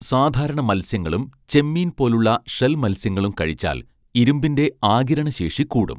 സാധാരണ മത്സ്യങ്ങളും ചെമ്മീൻ പോലുള്ള ഷെൽ മത്സ്യങ്ങളും കഴിച്ചാൽ ഇരുമ്പിന്റെ ആഗിരണശേഷി കൂടും